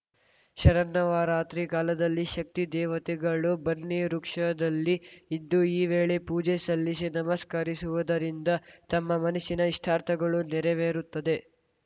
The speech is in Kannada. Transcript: ಶರನ್ನವರಾತ್ರಿ ಕಾಲದಲ್ಲಿ ಶಕ್ತಿ ದೇವತೆಗಳು ಬನ್ನಿ ವೃಕ್ಷದಲ್ಲಿ ಇದ್ದು ಈ ವೇಳೆ ಪೂಜೆ ಸಲ್ಲಿಸಿ ನಮಸ್ಕರಿಸುವುದರಿಂದ ತಮ್ಮ ಮನಸ್ಸಿನ ಇಷ್ಟಾರ್ಥಗಳು ನೆರವೇರುತ್ತದೆ